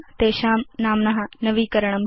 sheets इत्येषां नाम्न नवीकरणम्